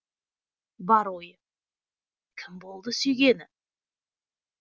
бар ойы кім болды сүйгені